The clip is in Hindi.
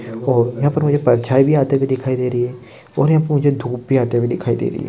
और यहा पर मुझे परछाई भी आते हुए दिखाई दे रही है और मुझे यहा पे धूप भी आते हुई दिखाई दे रही है।